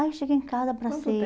Aí eu cheguei em casa abracei